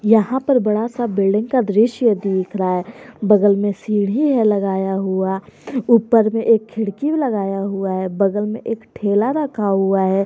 यहां पर बड़ा सा बिल्डिंग का दृश्य दिख रहा है बगल में सीढ़ी है लगाया हुआ ऊपर में एक खिड़की लगाया हुआ है बगल में एक ठेला रखा हुआ है।